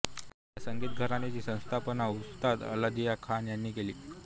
ह्या संगीत घराण्याची स्थापना उस्ताद अल्लादिया खान ह्यांनी केली